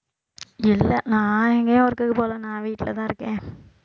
இல்லை நான் எங்கயும் work க்குக்கு போகலை நான் வீட்டுலதான் இருக்கேன்